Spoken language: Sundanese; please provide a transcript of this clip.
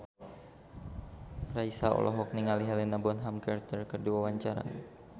Raisa olohok ningali Helena Bonham Carter keur diwawancara